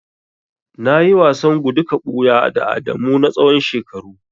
Nayi wasan gudu ka buya da Adamu na tsawon shekaru.